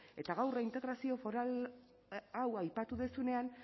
eta gaur reintegrazio foral hau aipatu duzunean